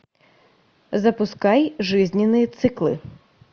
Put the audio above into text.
запускай жизненные циклы